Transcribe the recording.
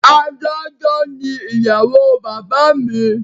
Adájọ́ ni ìyàwó bàbá mi